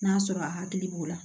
N'a sɔrɔ a hakili b'o la